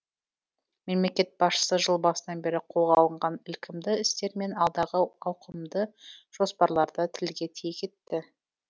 мемлекет басшысы жыл басынан бері қолға алынған ілкімді істер мен алдағы ауқымды жоспарларды тілге тиек етті